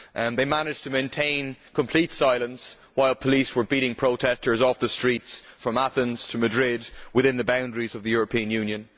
They managed to maintain complete silence when police were beating protesters off the streets from Athens to Madrid within the boundaries of the European Union.